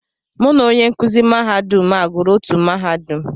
Mụ na onye nkụzi mahadum a gụrụ otú mahadum.